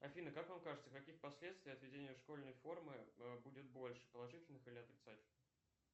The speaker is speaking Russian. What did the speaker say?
афина как вам кажется каких последствий от введения школьной формы будет больше положительных или отрицательных